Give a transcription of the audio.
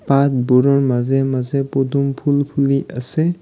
পাতবোৰৰ মাজে মাজে পদুম ফুল ফুলি আছে।